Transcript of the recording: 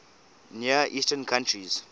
near eastern countries